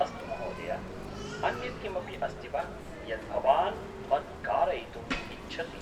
-अस्तु महोदय! अन्यत् किमपि अस्ति वा यत् भवान् मत् कारयितुम् इच्छति?